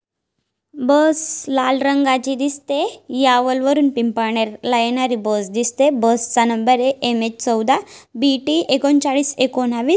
बस लाल रंगची दिसते. बस चा नंबर ये एम_एच चौदा बी_टी एकोंचाळीस एकोणवीस.